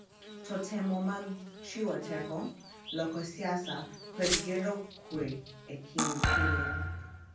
To temo mag chiwo teko, loko siasa, kod gero kuwe e kind piny .